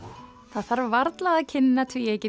það þarf varla að kynna tvíeykið